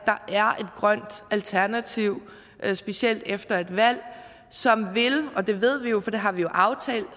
grønt alternativ specielt efter et valg som og det ved vi jo for det har vi aftalt